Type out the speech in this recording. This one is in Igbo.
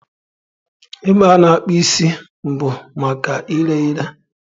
Ebe a na-akpụ isi bụ maka ire ere.